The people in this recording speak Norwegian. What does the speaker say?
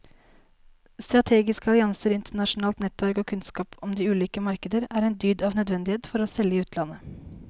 Strategiske allianser, internasjonalt nettverk og kunnskap om de ulike markeder er en dyd av nødvendighet for å selge i utlandet.